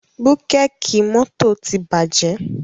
Búkẹ̀kì mọ́tò ti bàjẹ́.